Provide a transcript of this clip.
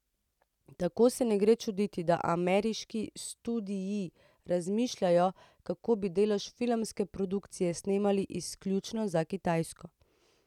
Tako se ne gre čuditi, da ameriški studii razmišljajo, kako bi delež filmske produkcije snemali izključno za Kitajsko.